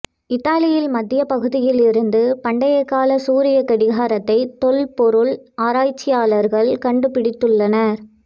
இத்தாலியில் மத்திய பகுதியில் இருந்து பண்டைய கால சூரியக் கடிகாரத்தை தொல்பொருள் ஆராய்ச்சியாளர்கள் கண்டுபிடித்துள்ளனர்